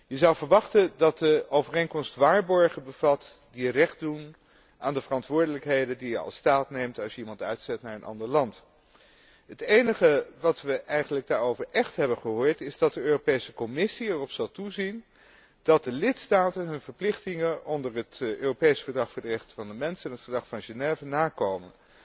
Je zou verwachten dat de overeenkomst waarborgen bevat die recht doen aan de verantwoordelijkheden die je als staat neemt als je iemand uitzet naar een ander land. Het enige wat wij daarover eigenlijk echt hebben gehoord is dat de Europese Commissie erop zal toezien dat de lidstaten hun verplichtingen onder het Europees Verdrag voor de rechten van de mens en het Verdrag van Genève nakomen.